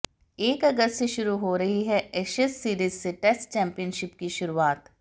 एक अगस्त से शुरू हो रही एशेज सीरीज से टेस्ट चैंपियनशिप की शुरुआत होगी